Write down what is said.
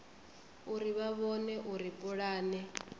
uri vha vhone uri pulane